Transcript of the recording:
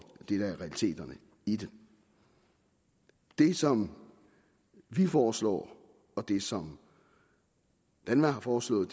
det der er realiteterne i det det som vi foreslår og det som danva har foreslået